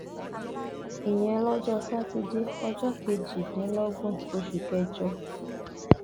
ìyẹn lọjọ sátidé ọjọ kejìdínlọgbọn oṣù kẹjọ